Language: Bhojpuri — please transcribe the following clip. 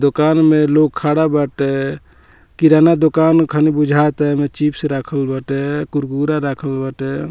दुकान में लोग खड़ा बाटे किराना दुकान खाली बाटे चिप्स रखल बाटे कुरकुरा रखल बाटे।